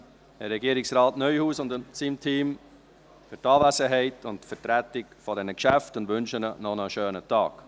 Ich danke Regierungsrat Neuhaus und seinem Team für die Anwesenheit sowie für die Vertretung der Geschäfte und wünsche ihnen noch einen schönen Tag.